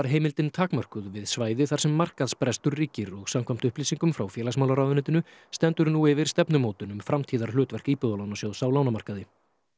heimildin takmörkuð við svæði þar sem markaðsbrestur ríkir og samkvæmt upplýsingum frá félagsmálaráðuneytinu stendur nú yfir stefnumótun um framtíðarhlutverk Íbúðalánasjóðs á lánamarkaði